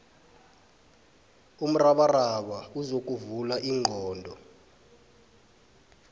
umrabaraba uzokuvula ingqondo